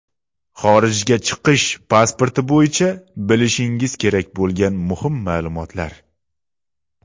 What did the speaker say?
Xorijga chiqish pasporti bo‘yicha bilishingiz kerak bo‘lgan muhim maʼlumotlar.